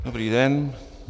Dobrý den.